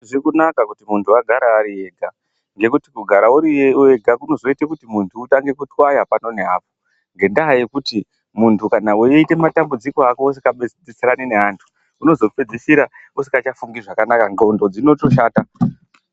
Hazvizi kunaka kuti muntu agare ari ega. ngekuti kugara urivega kunozoita kuti muntu atange kutwaya panoneapo, ngendaa yekuti muntu kana veiita matambudziko ako usikabetserani neantu unozopedzisira usikachafungi zvakanaka ndxondo dzinotoshata.